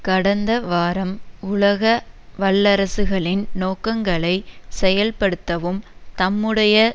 கடந்த வாரம் உலக வல்லரசுகளின் நோக்கங்களைச் செயல்படுத்தவும் தம்முடைய